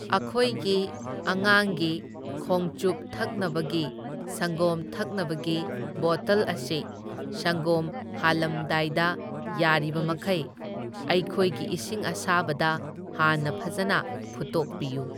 ꯑꯈꯣꯏꯒꯤ ꯑꯉꯥꯡꯒꯤ ꯈꯣꯡꯆꯨꯞ ꯊꯛꯅꯕꯒꯤ ꯁꯪꯒꯣꯝ ꯊꯛꯅꯕꯒꯤ ꯕꯣꯇꯜ ꯑꯁꯤ ꯁꯪꯒꯣꯝ ꯍꯥꯂꯝꯗꯥꯏꯗ ꯌꯥꯔꯤꯕꯃꯈꯩ ꯑꯩꯈꯣꯏꯒꯤ ꯏꯁꯤꯡ ꯑꯁꯥꯕꯗ ꯍꯥꯟꯅ ꯐꯖꯅ ꯐꯨꯠꯇꯣꯛꯄꯤꯌꯨ꯫